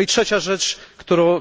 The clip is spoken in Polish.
I trzecia rzecz,